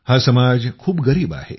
हा समाज खूप गरीब आहे